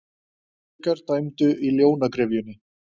Feðgar dæmdu í Ljónagryfjunni